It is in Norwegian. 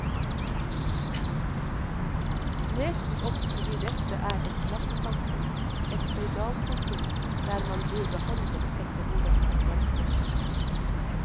Nesen opp fordi dette er et klassesamfunn, et føydalsamfunn, der man blir behandlet etter hvordan man fremstår.